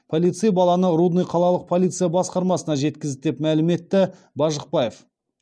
полицей баланы рудный қалалық полиция басқармасына жеткізді деп мәлім етті бажықбаев